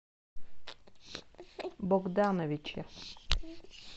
богдановича